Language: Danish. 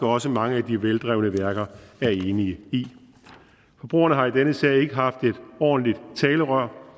også mange af de veldrevne værker er enige i forbrugerne har i denne sag ikke haft et ordentligt talerør